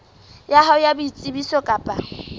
ya hao ya boitsebiso kapa